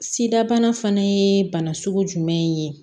Sida bana fana ye bana sugu jumɛn ye